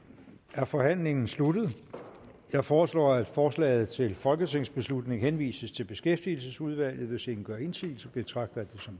er forhandlingen sluttet jeg foreslår at forslaget til folketingsbeslutning henvises til beskæftigelsesudvalget hvis ingen gør indsigelse betragter